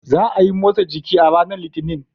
Za a yi motsa jiki a ranar Litinin.